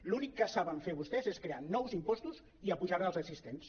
l’únic que saben fer vostès és crear nous impostos i apujar els existents